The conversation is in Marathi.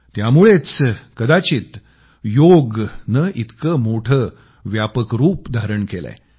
त्यामुळंच कदाचित योगने इतकं मोठं व्यापक रूप धारण केलंय